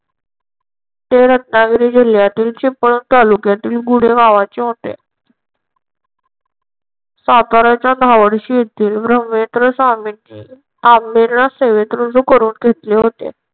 ते रत्नागिरी जिल्ह्यातील चिपळूण तालुक्यातील गुढे गावाचे होते. साताऱ्याच्या धावडशी येथील भूमी केंद्र स्वामिनी आम्हाला सेवेत रुजू करून घेतले होते.